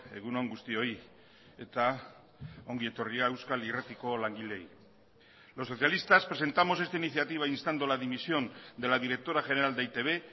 egun on guztioi eta ongi etorria euskal irratiko langileei los socialistas presentamos esta iniciativa instando la dimisión de la directora general de e i te be